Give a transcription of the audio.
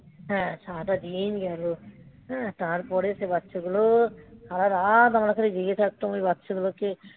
হ্যাঁ, সারাটা দিন গেল. হ্যাঁ, তারপরে সে বাচ্চাগুলো সারারাত আমরা খালি জেগে থাকতাম ওই বাচ্চাগুলোকে